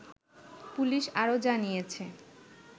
police আরো জানিয়েছে